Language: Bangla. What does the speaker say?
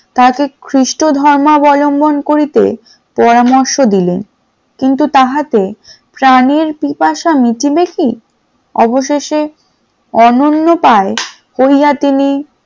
তাকে সেই খ্রিস্টো ধর্মালম্বন করিতে পরামর্শ দিলেন, কিন্তু তাহার প্রানের পিপাসা মিটিবে কি অবশেষে অনন্যপায় কইয়া তিনি